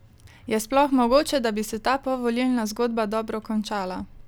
Je sploh mogoče, da bi se ta povolilna zgodba dobro končala?